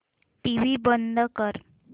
TV बंद कर